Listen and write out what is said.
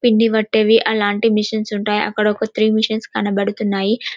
పిండి పటేవి అలాంటి మెషిన్ ఉంటాయి అలాంటివి అక్కడ ఒక త్రి మెషిన్స్ కనబడుతున్నాయి --